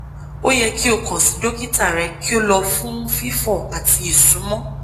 o yẹ ki o kan si dokita rẹ ki o lọ fun fifọ ati isunmọ